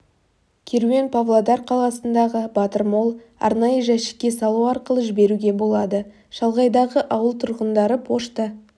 керуен павлодар қаласындағы батыр молл арнайы жәшікке салу арқылы жіберуге болады шалғайдағы ауыл тұрғындары пошта